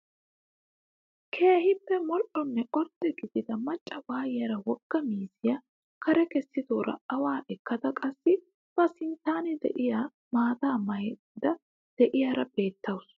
Keehippe modhdhonne ordde gidide macca waayiyaara wogga miizziyaa kare kessidoora awaa ekkada qassi ba sinttan de'iyaa maataa mayidda de'iyaara beettawus.